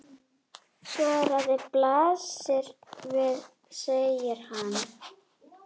Svarið blasir við, segir hann.